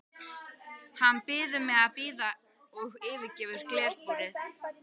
Hann biður mig að bíða og yfirgefur glerbúrið.